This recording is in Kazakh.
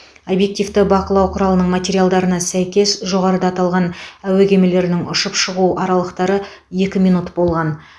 объективті бақылау құралының материалдарына сәйкес жоғарыда аталған әуе кемелерінің ұшып шығу аралықтары екі минут болған